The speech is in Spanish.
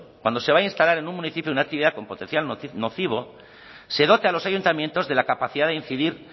cuando se vaya a instalar en un municipio una actividad con potencial nocivo se dote a los ayuntamientos de la capacidad de incidir